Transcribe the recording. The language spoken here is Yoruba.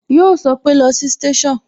Yo sọpe "lọ sí station"